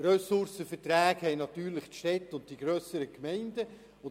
Ressourcenverträge haben natürlich die Städte und die grösseren Gemeinden;